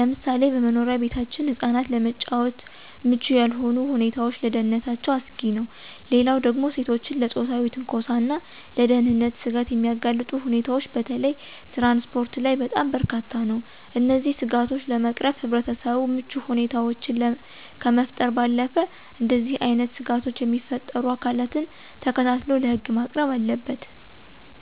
ለምሳሌ በመኖሪያ ቤታችን ህፃናት ለመጫወት ምቹ ያልሆኑ ሁኔታዎች ለደህንነታቸው አስጊ ነው። ሌላው ደግሞ ሴቶችን ለፆታዊ ትንኮሳና ለደህንነት ስጋት የሚያጋልጡ ሁኔታዎች በተለይ ትራንስፖርት ላይ በጣም በርካታ ነው። እነዚህን ስጋቶች ለመቅረፍ ህብረተሰቡ ምቹ ሁኔታዎችን ከመፍጠር ባለፈ እንደዚህ አይነት ስጋቶችን የሚፈጥሩ አካላትን ተከታትሎ ለህግ ማቅረብ አለበት።